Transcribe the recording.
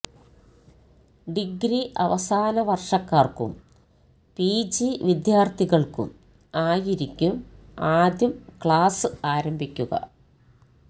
degree അവസാന വർഷക്കാർക്കും PG വിദ്യാർഥികൾക്കും ആയിരിക്കും ആദ്യം ക്ലാസ് ആരംഭിക്കുക